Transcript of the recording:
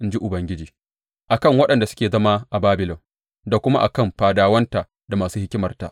In ji Ubangiji a kan waɗanda suke zama a Babilon da kuma a kan fadawanta da masu hikimarta!